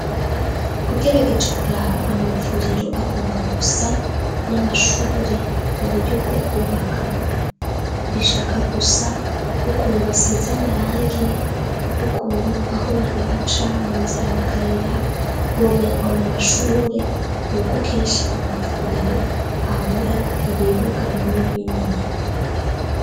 Ugerageje kuraba amavuriro agomba gusa n'amashure mu buryo bwo kubaka bishaka gusa ukuntu basiza amarangi ukuntu aho bantu baca mu nzira mu kayira bomengo na amashure ni uko kenshi amavuriro abo ra ibibuka binini binini.